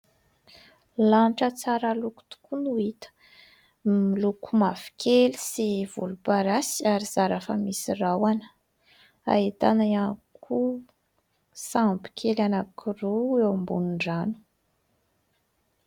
Lanitra tsara loko tokoa no hita, miloko mavokely sy volomparasy ary zara raha misy rahona. Ahitana ihany koa sambo kely anankiroa eo ambonin'ny rano.